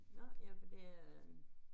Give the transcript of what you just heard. Nå ja det er